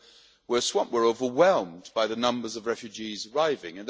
we're swamped we're overwhelmed by the numbers of refugees arriving'.